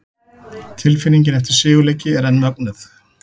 Tilfinningin eftir sigurleiki er enn mögnuð!